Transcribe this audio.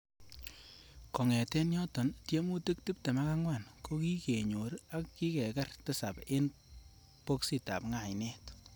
Kongeten yoton, tiemutik tibten ak angwan ko ki kenyor, ak kikekeer tisap en boksitab Ngainet.